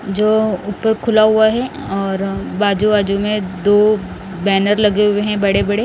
जो ऊपर खुला हुआ है और बाजू आजू में दो बैनर लगे हुए हैं बड़े बड़े--